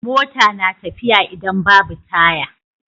Mota na tafiya idan Babu taya